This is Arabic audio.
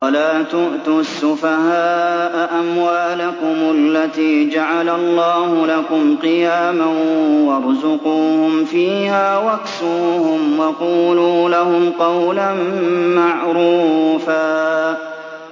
وَلَا تُؤْتُوا السُّفَهَاءَ أَمْوَالَكُمُ الَّتِي جَعَلَ اللَّهُ لَكُمْ قِيَامًا وَارْزُقُوهُمْ فِيهَا وَاكْسُوهُمْ وَقُولُوا لَهُمْ قَوْلًا مَّعْرُوفًا